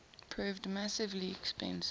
proved massively expensive